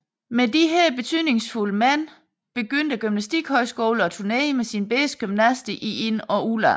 Med disse betydningsfulde mænd begyndte gymnastikhøjskolen at turnere med sine bedste gymnaster i ind og udland